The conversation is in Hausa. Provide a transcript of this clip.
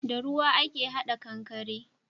Da ruwa ake hada kankare